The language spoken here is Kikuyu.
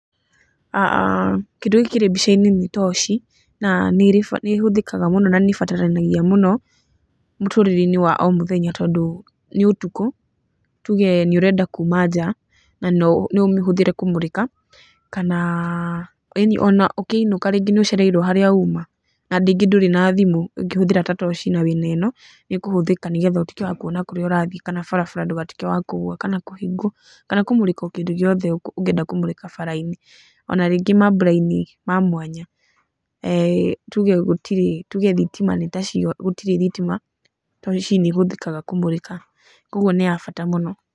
Kĩndĩ gĩkĩ kĩrĩ mbica-inĩ nĩ toci na nĩhũthĩkaga mũno na nĩbataranagia mũno mũtũrĩreinĩ wa o mũthenya tondu nĩũtukũ na tuuge nĩũrenda kuuma nja na noũmĩhũthĩre kũmũrĩka kana ũkĩinuka rĩngĩ nĩũcereirwo harĩa uma na ningĩ ndũrĩ na thimũ ũngĩhũthĩra ta toci na wĩna ĩno nĩĩkũhũthika nĩgetha ũtwĩke wa kuona kũrĩa ũrathiĩ kana barabara ndũgatuĩke wa kũgũa kana kũhĩngwo kana kũmũrĩka kĩndũ o gĩothe ũngienda kũmũrĩka barabara-inĩ ona rĩngĩ mambura-inĩ ma mwanya, tuge gũtirĩ thitima toci nĩĩhũthĩkaga kũmũrĩka koguo nĩ ya bata mũno.